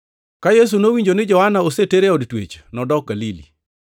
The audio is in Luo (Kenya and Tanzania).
Ka Yesu nowinjo ni Johana oseter e od twech, nodok Galili.